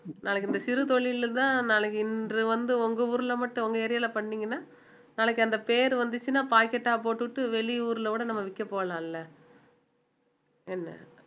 நாளைக்கு இந்த சிறு தொழில்லதான் நாளைக்கு இன்று வந்து உங்க ஊர்ல மட்டும் உங்க area ல பண்ணீங்கன்னா நாளைக்கு அந்த பேரு வந்துச்சுன்னா pocket ஆ போட்டுட்டு வெளியூர்ல கூட நம்ம விற்க போலாம் இல்ல இல்ல என்ன